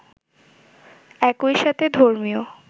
একই সাথে ধর্মীয়